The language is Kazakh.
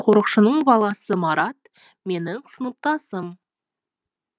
қорықшының баласы марат менің сыныптасым